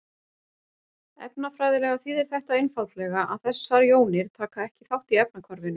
Efnafræðilega þýðir þetta einfaldlega að þessar jónir taka ekki þátt í efnahvarfinu.